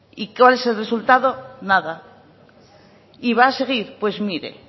y cuál es el resultado nada y va a seguir pues mire